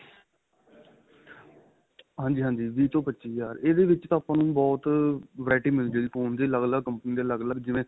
ਹਾਂਜੀ ਹਾਂਜੀ ਵੀਹ ਤੋਂ ਪੱਚੀ ਹਜ਼ਾਰ ਇਹਦੇ ਵਿੱਚ ਤਾਂ ਆਪਾਂ ਨੂੰ ਬਹੁਤ variety ਮਿਲ ਜੇ ਗਈ phone ਦੀ ਅੱਲਗ ਅੱਲਗ company ਦੇ ਅੱਲਗ ਅੱਲਗ ਜਿਵੇਂ